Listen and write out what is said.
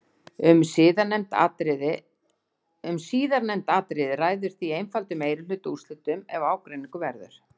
Um síðarnefnd atriði ræður því einfaldur meirihluti úrslitum ef ágreiningur verður.